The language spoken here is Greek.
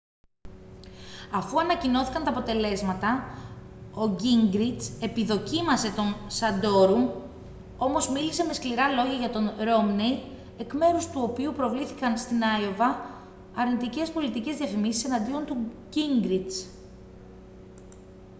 αφού ανακοινώθηκαν τα αποτελέσματα ο γκίνγκριτς επιδοκίμασε τον σαντόρουμ όμως μίλησε με σκληρά λόγια για τον ρόμνεϊ εκ μέρους του οποίου προβλήθηκαν στην αϊόβα αρνητικές πολιτικές διαφημίσεις εναντίον του γκίνγκριτς